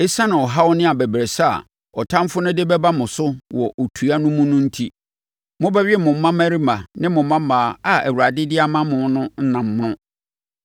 Esiane ɔhaw ne abɛbrɛsɛ a ɔtamfoɔ de bɛba mo so wɔ otua no mu no enti, mobɛwe mo mmammarima ne mmammaa a Awurade de ama mo no ɛnam mono.